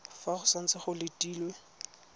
fa go santse go letilwe